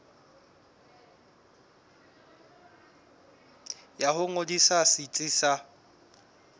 ya ho ngodisa setsi sa